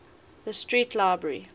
tite street library